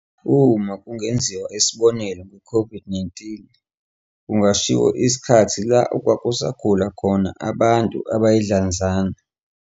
Uma kungenziwa isibonelo nge-COVID-19, kungashiwo isikhathi la okwakusagula khona abantu abayidlanzana.